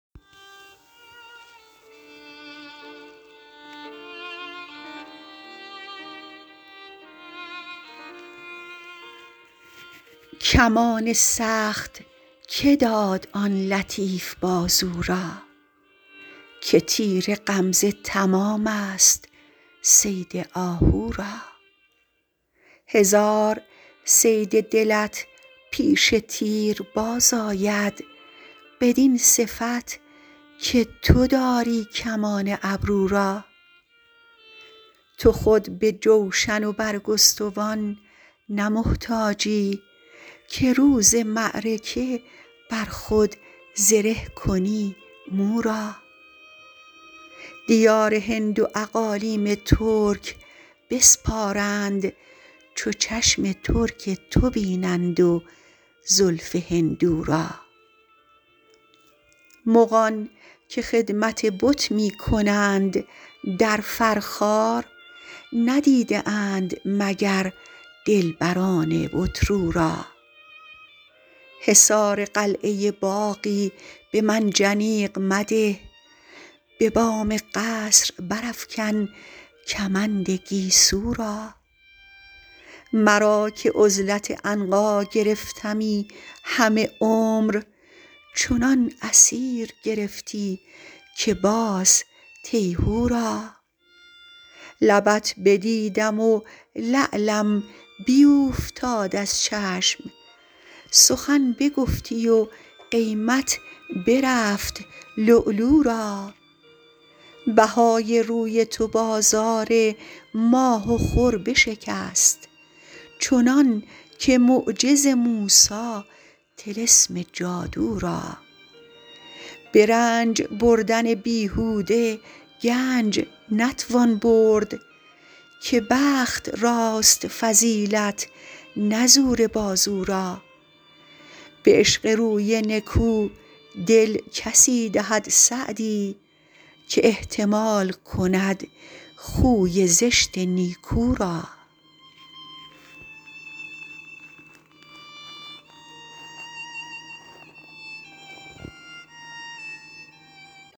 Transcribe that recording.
کمان سخت که داد آن لطیف بازو را که تیر غمزه تمام ست صید آهو را هزار صید دلت پیش تیر باز آید بدین صفت که تو داری کمان ابرو را تو خود به جوشن و برگستوان نه محتاجی که روز معرکه بر خود زره کنی مو را دیار هند و اقالیم ترک بسپارند چو چشم ترک تو بینند و زلف هندو را مغان که خدمت بت می کنند در فرخار ندیده اند مگر دلبران بت رو را حصار قلعه باغی به منجنیق مده به بام قصر برافکن کمند گیسو را مرا که عزلت عنقا گرفتمی همه عمر چنان اسیر گرفتی که باز تیهو را لبت بدیدم و لعلم بیوفتاد از چشم سخن بگفتی و قیمت برفت لؤلؤ را بهای روی تو بازار ماه و خور بشکست چنان که معجز موسی طلسم جادو را به رنج بردن بیهوده گنج نتوان برد که بخت راست فضیلت نه زور بازو را به عشق روی نکو دل کسی دهد سعدی که احتمال کند خوی زشت نیکو را